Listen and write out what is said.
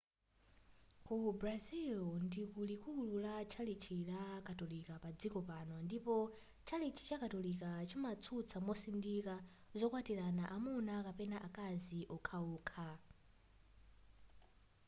ku brazil ndiku likuli la tchalitchi ya katolika padziko pano ndipo tchalitchi chakatolika chimatsutsa mosindika zokwatilana amuna kapena akazi wokhawokha